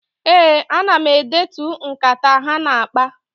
Ee, ana m edetu nkata ha na-akpa.